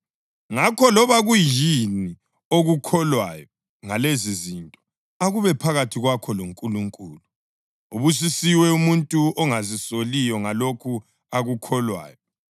Ngakho loba kuyini okukholwayo ngalezizinto akube phakathi kwakho loNkulunkulu. Ubusisiwe umuntu ongazisoliyo ngalokho akukholwayo.